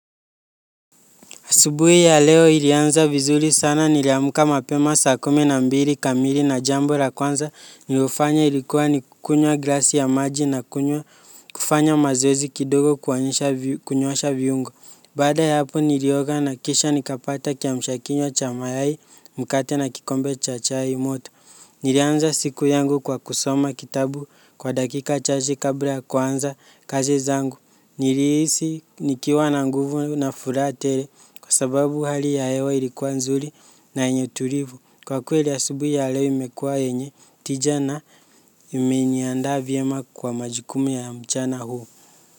Asubuhi ya leo ilianza vizuri sana niliamka mapema saa kumi na mbili kamili na jambo la kwanza nilofanya ilikuwa ni kukunywa glasi ya maji na kufanya mazoezi kidogo kunyoosha viungo. Baada ya hapo nilioga na kisha nikapata kiamsha kinywa cha mayai mkate na kikombe cha chaimoto. Nilianza siku yangu kwa kusoma kitabu kwa dakika chache kabla ya kuanza kazi zangu. Nilihisi nikiwa na nguvu na furaha tele kwa sababu hali ya hewa ilikuwa nzuri na yenye tulivu. Kwa kweli asubuhi ya leo imekuwa yenye tija na imeniandaa vyema kwa majukumu ya mchana huu.